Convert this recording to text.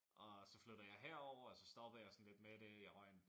Og så flyttede jeg herovre og stoppede jeg sådan lidt med det jeg røg